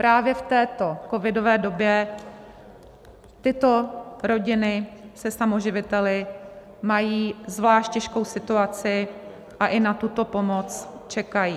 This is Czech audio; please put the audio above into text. Právě v této covidové době tyto rodiny se samoživiteli mají zvlášť těžkou situaci a i na tuto pomoc čekají.